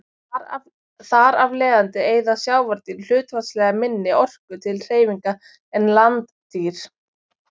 Þar af leiðandi eyða sjávardýr hlutfallslega minni orku til hreyfinga en landdýr.